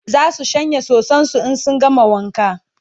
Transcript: zasu shanya soson su in sun gama wanka